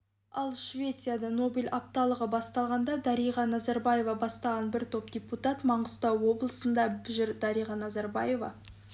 ал швецияда нобель апталығы басталды дариға назарбаева бастаған бір топ депутат маңғыстау облысында жүр дариға назарбаева